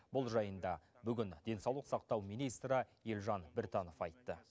бұл жайында бүгін денсаулық сақтау министрі елжан біртанов айтты